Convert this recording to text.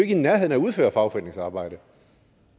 i nærheden af at udføre fagforeningsarbejde